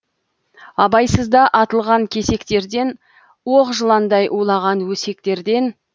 абайсызда атылған кесектерден оқ жыландай улаған өсектерден